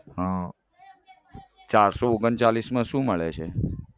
હમ ચારસો ઓગણચાલીસ માં શું મળે છે?